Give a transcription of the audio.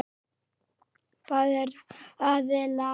Báðir aðilar.